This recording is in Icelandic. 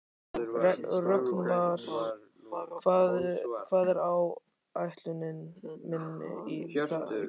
Rögnvar, hvað er á áætluninni minni í dag?